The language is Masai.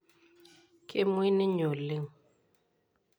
Kemuoi ninye oleng.